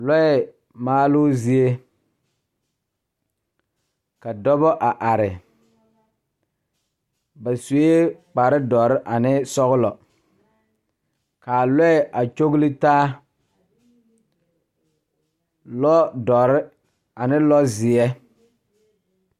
Lɔɛ maaloo zie ka dɔbɔ a are ba suee kparedɔre ane sɔglɔ kaa lɔɛ a kyoglitaa lɔ dɔre ane lɔ zeɛ.